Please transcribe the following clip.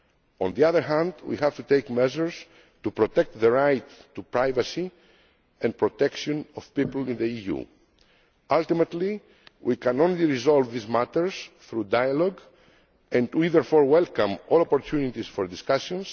on the other hand, we have to take measures to protect the right to privacy and protection of people in the EU. Ultimately, we can only resolve these matters through dialogue, and we therefore welcome all opportunities for discussion.